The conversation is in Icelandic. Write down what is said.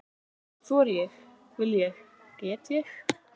Þori ég- vil ég- get ég?